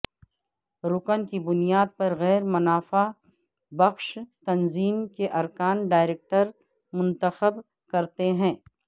رکن کی بنیاد پر غیر منافع بخش تنظیم کے ارکان ڈائریکٹرز منتخب کرتے ہیں